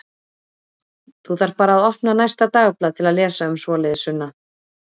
Þú þarft bara að opna næsta dagblað til að lesa um svoleiðis, Sunna.